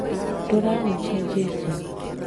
Turahunjia jesũ